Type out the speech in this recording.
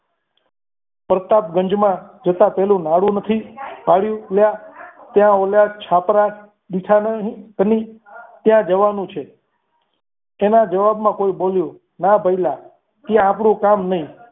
પ્રતાપગંજમાં જતા પહેલા નાડું નથી પાડ્યું લ્યા ત્યાં ઓલા છાપરા દેખા નહીં તમને ત્યાં જવાનું છે તેના જવાબમાં કોઈ બોલ્યું ના ભઈલા તે આપણું કામ નહીં.